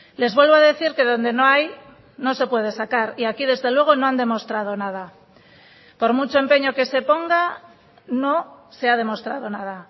les vuelvo a decir que donde no hay no se puede sacar y aquí desde luego no han demostrado nada por mucho empeño que se ponga no se ha demostrado nada